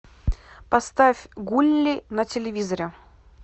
поставь гулли на телевизоре